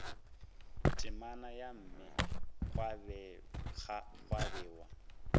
temana ya mme gwa bewa